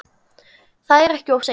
Það er ekkert of seint.